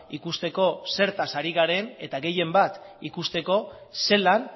ikusteko zertaz ari garen eta gehien bat ikusteko zelan